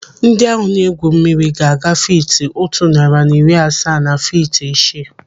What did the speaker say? Ndị ahụ na-egwu mmiri ga-aga fiiti otu narị na iri asaa na fiiti isii.